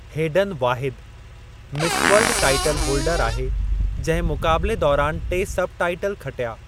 Hayden वाहिद Miss World title holder आहे जंहिं मुक़ाबिले दौरानि टे सब टाईटल खटिया।